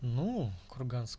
ну курганск